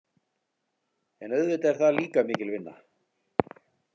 En auðvitað er það líka mikil vinna.